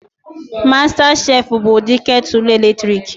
Mastas chef bụ ụdị ketulu eletrik